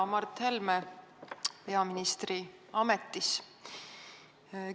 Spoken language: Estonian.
Hea Mart Helme peaministri ametis!